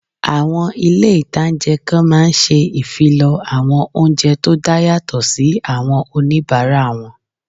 Àwọn ilé-ìtánjẹ kan máa n ṣe ìfilọ́ àwọn oúnjẹ tó dá yàtọ̀ sí àwọn oníbàárà wọn